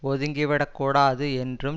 ஒதுங்கி விடக்கூடாது என்றும்